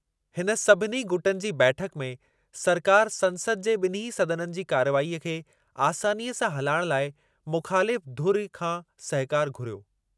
हिन सभिनी गुटनि जी बैठकु में सरकारि संसद जे ॿिन्हीं सदननि जी कार्रवाईअ खे आसानीअ सां हलाइण लाइ मुख़ालिफ़ु धुरि खां सहकारु घुरियो।